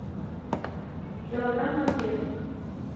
килограмм конфет